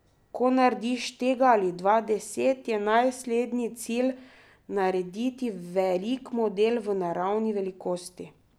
Ko narediš tega ali dva, deset, je naslednji cilj narediti velik model, v naravni velikosti.